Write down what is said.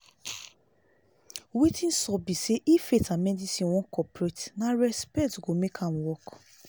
wetin sup be say if faith and medicine wan cooperate na respect go make am work